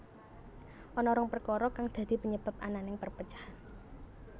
Ana rong perkara kang dadi penyebab ananing perpecahan